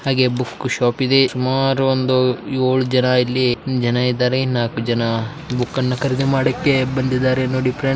ಹಾಗೆ book shop ಇದೆ ಸುಮಾರು ಏಳು ಜನ ಇಲ್ಲಿ ಹಾಗೆ ನಾಲ್ಕು ಜನ ಬುಕ್ಕು ಖರೀದಿ ಮಾಡಕ್ಕೆ ಬಂದಿದ್ದಾರೆ ನೋಡಿ ಫ್ರೆಂಡ್ಸ್ .